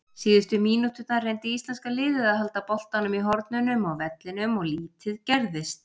Síðustu mínúturnar reyndi íslenska liðið að halda boltanum í hornunum á vellinum og lítið gerðist.